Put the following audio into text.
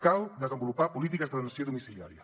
cal desenvolupar polítiques d’atenció domiciliària